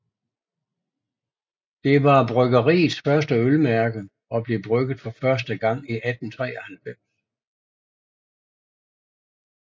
Det var bryggeriets første ølmærke og blev brygget for første gang i 1893